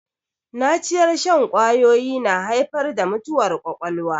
Naciyar shan ƙwawoyi na haifar da mutuwar ƙwaƙwalwa